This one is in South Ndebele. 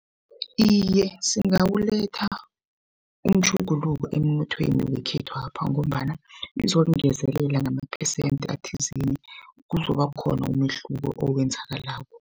Iye, singawuletha umtjhuguluko emnothweni wekhethwapha ngombana kuzokungezelela ngamaphesenthe athizeni, kuzoba khona umehluko owenzakalako.